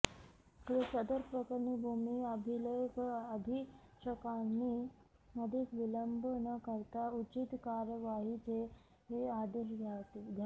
सदर प्रकरणी भूमी अभिलेख अधीक्षकांनी अधिक विलंब न करता उचित कार्यवाहीचे आदेश द्यावेत